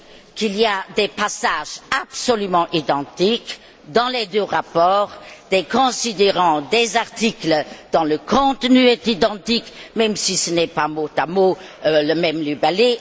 qu'il y a des passages absolument identiques dans les deux rapports, des considérants, des articles dont le contenu est identique, même si ce n'est pas mot à mot le même libellé.